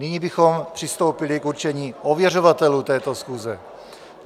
Nyní bychom přistoupili k určení ověřovatelů této schůze.